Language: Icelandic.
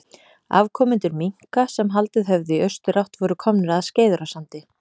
Afkomendur minka sem haldið höfðu í austurátt voru komnir að Skeiðarársandi.